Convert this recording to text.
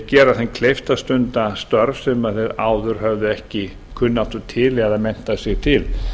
gera þeim kleift að stunda störf sem þau áður höfðu ekki kunnáttu til eða menntað sig til